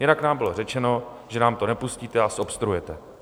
Jinak nám bylo řečeno, že nám to nepustíte a zobstruujete.